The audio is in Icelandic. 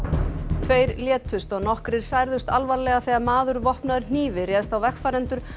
tveir létust og nokkrir særðust alvarlega þegar maður vopnaður hnífi réðst á vegfarendur